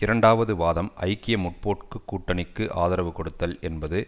இரண்டாவது வாதம் ஐக்கிய முற்போக்கு கூட்டணிக்கு ஆதரவு கொடுத்தல் என்பது